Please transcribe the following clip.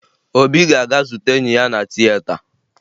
Obi ga-aga zute enyi ya na tieta